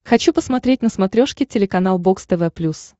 хочу посмотреть на смотрешке телеканал бокс тв плюс